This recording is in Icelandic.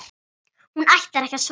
Hún ætlar ekki að svara.